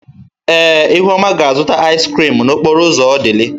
Ee, ihuoma ga-azụta ịz krịm n'okporo ụzọ Odili.